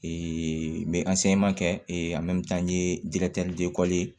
n bɛ kɛ n ye